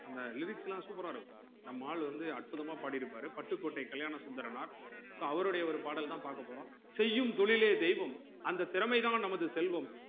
அந்த lyrics லாம் super ஆ நம்ம ஆள் வந்து அற்புதமா பாடிருப்பாரு பட்டுக்கோட்டை கல்யாணசுந்தரனார் so அவருடைய ஒரு பாடல் தான் பாக்கபோறோம் செய்யும் தொழிலே தெய்வம் அந்த திறமை தான் நமது செல்வம்